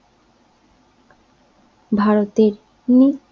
ভারতের নিচে